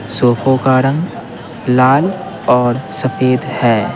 सोफों का रंग लाल और सफेद है।